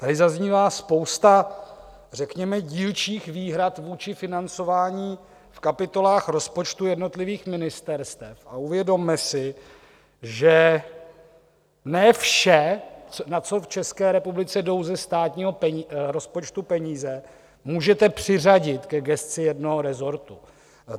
Tady zaznívá spousta řekněme dílčích výhrad vůči financování v kapitolách rozpočtu jednotlivých ministerstev a uvědomme si, že ne vše, na co v České republice jdou ze státního rozpočtu peníze, můžete přiřadit ke gesci jednoho resortu.